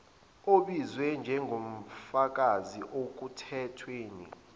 obizwe njengofakazi ekuthethweni